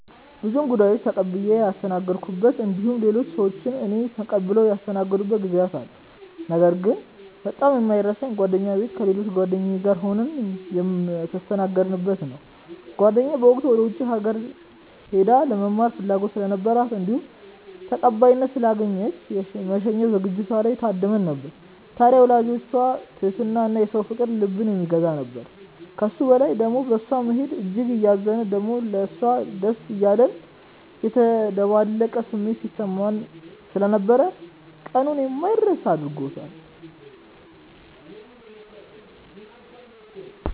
ብዙ እንግዶችን ተቀብዬ ያስተናገድኩበት እንዲሁም ሌሎች ሰዎች እኔን ተቀብለው ያስተናገዱበት ጊዜያት አሉ። ነገር ግን በጣም የማይረሳኝ ጓደኛዬ ቤት ከሌሎች ጓደኞቼ ጋር ሆነን የተስተናገድነው ነው። ጓደኛዬ በወቅቱ ወደ ውጪ ሀገር ሄዳ ለመማር ፍላጎት ስለነበራት እንዲሁም ተቀባይነት ስላገኘች የመሸኛ ዝግጅቷ ላይ ታድመን ነበር። ታድያ የወላጆቿ ትህትና እና የሰው ፍቅር ልብን የሚገዛ ነበር። ከሱ በላይ ደሞ በእሷ መሄድ እጅግ እያዘንን ደሞም ለሷ ደስ እያለን የተደበላለቀ ስሜት ሲሰማን ስለነበር ቀኑን የማይረሳ አድርጎታል።